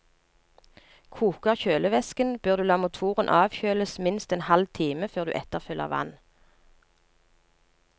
Koker kjølevæsken, bør du la motoren avkjøles minst en halv time før du etterfyller vann.